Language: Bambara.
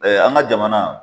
an ka jamana.